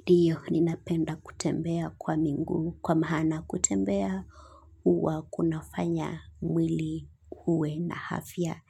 Ndiyo, ninapenda kutembea kwa miguu, kwa maana kutembea, huwa kunafanya mwili uwe na afya.